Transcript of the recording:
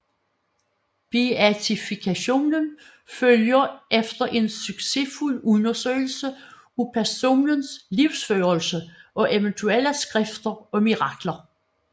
Beatifikationen følger efter en succesfuld undersøgelse af personens livsførelse og eventuelle skrifter og mirakler